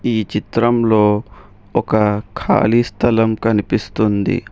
ఈ చిత్రంలో ఒక ఖాళీ స్థలం కనిపిస్తుంది.